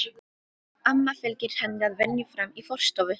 Amma fylgir henni að venju fram í forstofu.